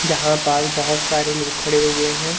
जहां पाल बहोत सारे लोग खड़े हुए हैं।